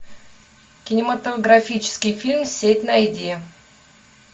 кинематографический фильм сеть найди